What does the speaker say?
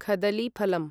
खदलीफलम्